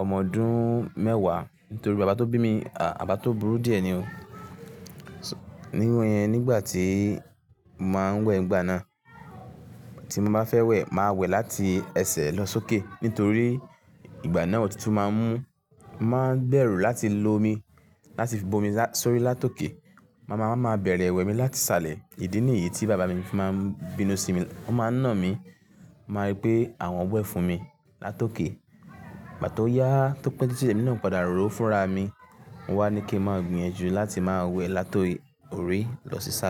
ọmọ ọdún mẹ́wàá nítorí bàbá tó bí mi, bàbá tó burú díẹ̀ ni o. Nígbà tí mo máa ń wẹ̀ ìgbà náà, tí mo bá fẹ́ wẹ̀, màá wẹ̀ láti ẹsẹ̀ lọ sókè. Nítorí ìgbà náà òtútù máa ń mú, máa ń gbèrò láti lo omi, láti fo omi sórí látòké. Mama máa ń bẹ̀rẹ̀ wẹ̀ mi láti salẹ̀. Ìdí nìyí tí bàbá mi fi máa ń bínú sí mi. Ó máa ń nà mí, máa rí pé àwọn wẹ̀ fún mi látòké. Gbà tó yá, tó pẹ́ títi lé mi náà padà ro fúnra mi. Wọ́n á ní kí n máa gbìyànjú láti máa wẹ̀ láti orí lọ sí sààle.